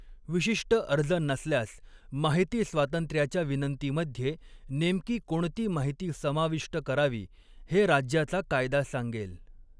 विशिष्ट अर्ज नसल्यास, माहिती स्वातंत्र्याच्या विनंतीमध्ये नेमकी कोणती माहिती समाविष्ट करावी हे राज्याचा कायदा सांगेल.